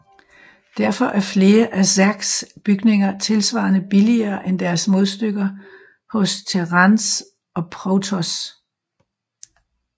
Derfor er flere af zergs bygninger tilsvarende billigere end deres modstykker hos terrans og protoss